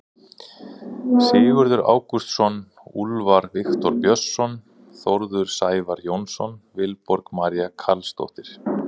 Sigurður Ágústsson, Úlfar Viktor Björnsson, Þórður Sævar Jónsson, Vilborg María Carlsdóttir.